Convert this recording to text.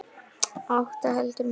Átta heldur mikið.